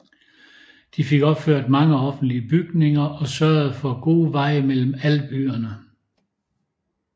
De fik opført mange offentlige bygninger og sørgede for gode veje mellem alle byerne